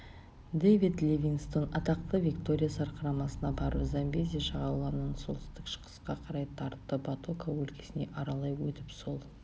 дэвид ливингстон атақты виктория сарқырамасына барып замбези жағалауынан солтүстік-шығысқа қарай тартты батока өлкесін аралай өтіп сол